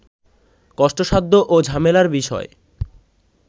কষ্টসাধ্য ও ঝামেলার বিষয়